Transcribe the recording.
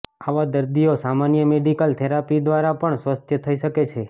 આવા દર્દીઓ સામાન્ય મેડિકલ થેરાપી દ્વારા પણ સ્વસ્થ થઈ શકે છે